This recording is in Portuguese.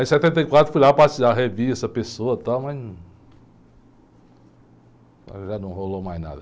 Aí em setenta e quatro fui lá passear, revi essa pessoa e tal, mas não, mas já não rolou mais nada.